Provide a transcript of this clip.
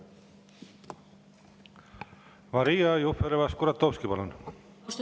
Maria Jufereva-Skuratovski, palun!